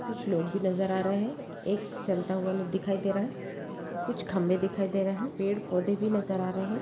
कुछ लोग भी नजर आ रहे है एक चलता हुवा लोग दिखाइ दे रहा है कुछ खम्बे दिखाई दे रहे है पेड़-पौधे भी नजर आ रहे है।